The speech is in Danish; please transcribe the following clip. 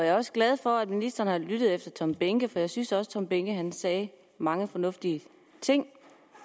er også glad for at ministeren har lyttet til herre tom behnke for jeg synes også herre tom behnke sagde mange fornuftige ting